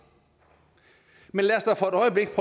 men lad os da for et øjeblik